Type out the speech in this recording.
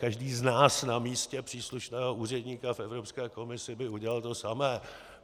Každý z nás na místě příslušného úředníka v Evropské komisi by udělal to samé.